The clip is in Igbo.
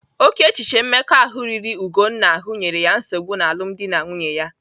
Oke echiche mmekọahụ riri Ugonna ahụ nyere ya nsogbu n'alumdi na nwunye ya.